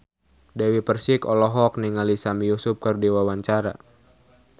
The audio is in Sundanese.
Dewi Persik olohok ningali Sami Yusuf keur diwawancara